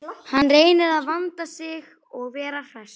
Hann reynir að vanda sig og vera hress.